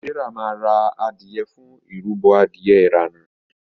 Serah ma rà adìye fún ìrúbo Adìyẹ irana.